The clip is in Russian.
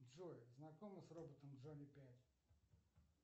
джой знакома с роботом джонни пять